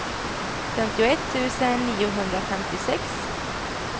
femtioett tusen niohundrafemtiosex